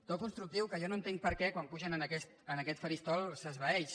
to constructiu que jo no entenc perquè quan pugen en aquest faristol s’esvaeix